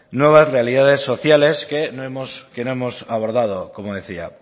nuevas realidades sociales que no hemos abordado como decía